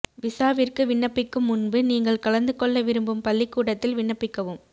விசாவிற்கு விண்ணப்பிக்கும் முன்பு நீங்கள் கலந்து கொள்ள விரும்பும் பள்ளிக்கூடத்தில் விண்ணப்பிக்கவும்